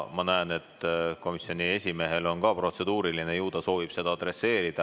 Ma näen, et ka komisjoni esimehel on protseduuriline tähelepanek – ju ta soovib seda kommenteerida.